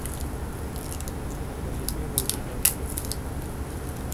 закажи пиво и сухарики